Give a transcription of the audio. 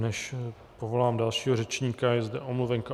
Než povolám dalšího řečníka, je zde omluvenka.